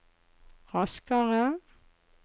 raskere